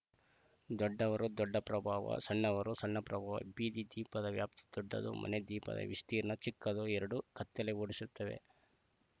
ದೊಡ್ಡವರು ದೊಡ್ಡ ಪ್ರಭಾವ ಸಣ್ಣವರು ಸಣ್ಣ ಪ್ರಭಾವ ಬೀದಿ ದೀಪದ ವ್ಯಾಪ್ತಿ ದೊಡ್ಡದು ಮನೆ ದೀಪದ ವಿಸ್ತೀರ್ಣ ಚಿಕ್ಕದು ಎರಡೂ ಕತ್ತಲೆ ಓಡಿಸುತ್ತವೆ